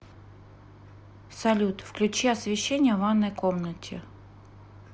салют включи освещение в ванной комнате